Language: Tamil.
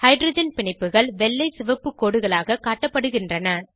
ஹைட்ரஜன் பிணைப்புகள் வெள்ளை சிவப்பு கோடுகளாக காட்டப்படுகின்றன